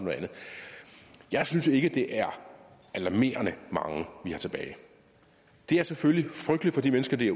jeg synes ikke det er alarmerende mange vi har tilbage det er selvfølgelig frygteligt for de mennesker det